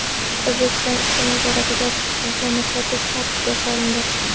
O‘zbekiston ichki bozorida pivoni sotish tartibga solindi.